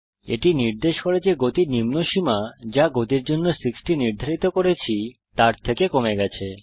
এটি নির্দেশ করে যে গতি নিম্ন সীমা যা গতির জন্য 60 নির্ধারিত করেছি তার থেকে কমে গেছে